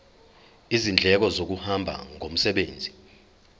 izindleko zokuhamba ngomsebenzi